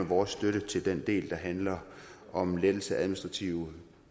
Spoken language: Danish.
vores støtte til den del der handler om lettelse af administrative